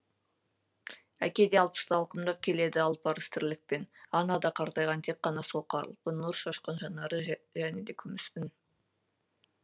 әке де алпысты алқымдап келеді арпалыс тірлікпен ана да қартайған тек қана сол қалпы нұр шашқан жанары және де күміс үн